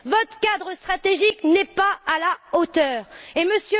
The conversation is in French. Votre cadre stratégique n'est pas à la hauteur, et M.